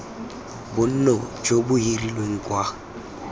bonno jo bo hirilweng kwa